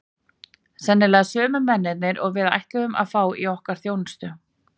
Sennilega sömu mennirnir og við ætluðum að fá í okkar þjónustu!